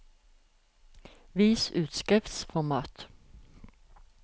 Vis utskriftsformat